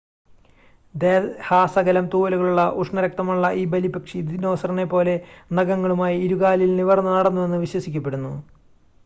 ദേഹാസകലം തൂവലുകളുള്ള ഉഷ്ണരക്തമുള്ള ഈ ബലിപ്പക്ഷി ദിനോസറിനെ പോലെ നഖങ്ങളുമായി ഇരുകാലുകളിൽ നിവർന്നു നടന്നുവെന്ന് വിശ്വസിക്കപ്പെടുന്നു